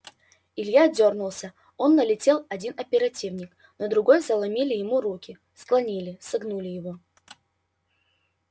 илья дёрнулся но налетел один оперативник другой заломили ему руки склонили согнули его